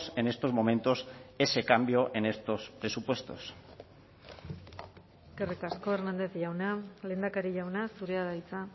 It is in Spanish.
en estos momentos ese cambio en estos presupuestos eskerrik asko hernández jauna lehendakari jauna zurea da hitza